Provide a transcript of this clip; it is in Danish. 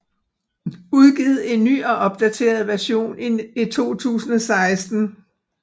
Udgivet i en ny og opdateret version i 2016